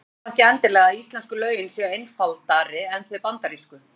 Það þýðir þó ekki endilega að íslensku lögin séu einfaldari en þau bandarísku.